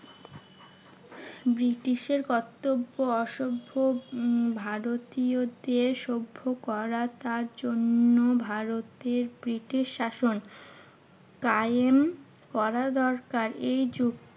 ব্রিটিশের কর্তব্য অসভ্য ভারতীয়দের সভ্য করা। তার জন্য ভারতের ব্রিটিশ স্বাসন কায়েম করা দরকার। এই যুক্তির